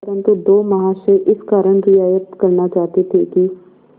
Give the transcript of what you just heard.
परंतु दो महाशय इस कारण रियायत करना चाहते थे कि